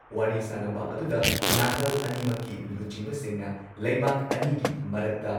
ꯋꯥꯔꯤ ꯁꯥꯟꯅꯕ ꯑꯗꯨꯗ ꯅꯥꯀꯜ ꯑꯅꯤꯃꯛꯀꯤ ꯂꯨꯆꯤꯡꯕꯁꯤꯡꯅ ꯂꯩꯕꯥꯛ ꯑꯅꯤꯒꯤ ꯃꯔꯛꯇ,